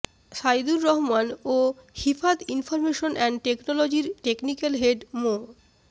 সাইদুর রহমান ও Ifad information and টেকনোলজির technical head মো